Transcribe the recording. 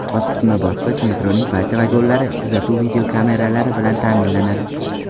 Bosqichma-bosqich metroning barcha vagonlari kuzatuv videokameralari bilan ta’minlanadi.